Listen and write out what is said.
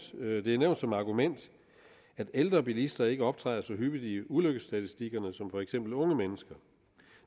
som argument at ældre bilister ikke optræder så hyppigt i ulykkesstatistikkerne som for eksempel unge mennesker